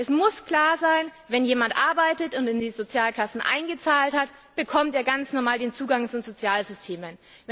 Es muss klar sein Wenn jemand arbeitet und in die Sozialkassen eingezahlt hat, bekommt er ganz normal den Zugang zu den Sozialsystemen.